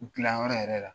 U dilanyɔrɔ yɛrɛ la